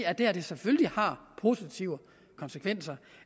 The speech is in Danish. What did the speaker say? at det her selvfølgelig har positive konsekvenser